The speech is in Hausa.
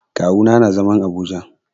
Kawu na nà zaman Abuja.